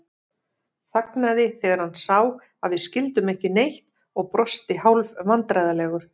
Þagnaði þegar hann sá að við skildum ekki neitt og brosti hálfvandræðalegur.